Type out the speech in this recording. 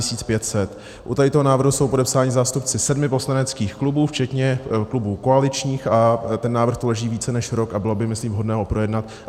U tohoto návrhu jsou podepsáni zástupci sedmi poslaneckých klubů včetně klubů koaličních a ten návrh tu leží více než rok a bylo by myslím vhodné ho projednat.